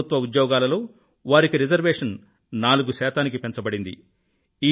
ప్రభుత్వ ఉద్యోగాలలో వారికి రిజర్వేషన్ 4 శాతానికి పెంచబడింది